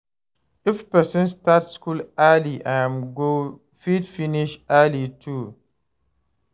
If person start school early im go fit finish early too